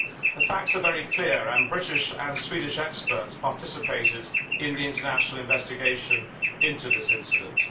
The facts are very clear, and British and Swedish experts participated in the international investigation into this incident.